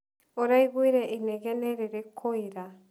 ũraiguire inegene rĩrĩkũ ira?